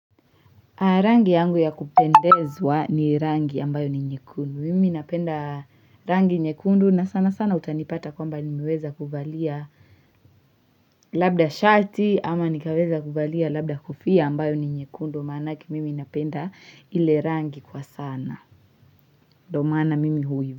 Rangi yangu ya kupendezwa ni rangi ambayo ni nyekundu mimi napenda rangi nyekundu na sanasana utanipata kwamba nimeweza kuvalia labda shati ama nikaweza kuvalia labda kofia ambayo ni nyekundu manake mimi napenda ile rangi kwa sana ndio maana mimi.